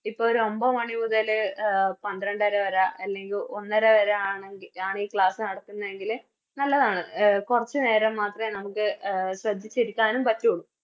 ഇപ്പോരൊമ്പ മണിമുതല് പന്ത്രണ്ടര വര അല്ലെങ്കി ഒന്നര വര ആണെങ്കി ആണി Class നടത്തുന്നതെങ്കില് നല്ലതാണ് എ കൊറച്ച് നേരം മാത്രേ നമുക്ക് എ ശ്രെദ്ധിച്ചിരിക്കാനും പറ്റുള്ളൂ